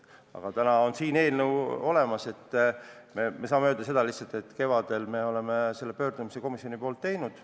Aga täna on siin eelnõu olemas ja me saame öelda lihtsalt seda, et kevadel me selle pöördumise komisjoni nimel tegime.